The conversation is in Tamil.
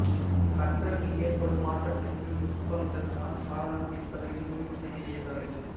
கற்றலில் ஏற்படும் மாற்றத்திற்கு நுட்பங்கள்தான் காரணம் என்பதையும் முடிவு செய்ய இயலாது